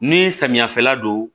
Ni samiyafɛla don